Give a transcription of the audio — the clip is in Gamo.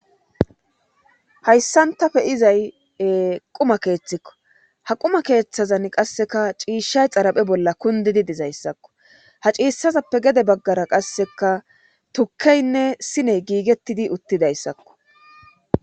Hayssantafe izay quma keeththikko ha quma keeththazan qasseka ciishshay xaraphe bolla kundidi dizayssakko ha ciissazappe gede baggara qasseka tukkeynne siney giigettidi uttidayssakko